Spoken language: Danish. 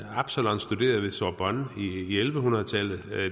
absalon studerede ved sorbonne i elleve hundrede tallet